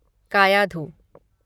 Kayadhu